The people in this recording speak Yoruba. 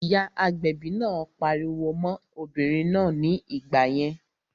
Ìyá agbẹ̀bi náà pariwo mọ́n obìnrin náà ní ìgbà yẹn